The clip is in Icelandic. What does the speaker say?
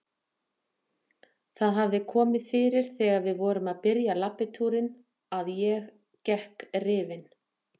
Það hafði komið fyrir þegar við vorum að byrja í labbitúrunum að ég gekk rifin.